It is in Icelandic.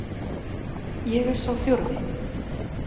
Ég er sá fjórði.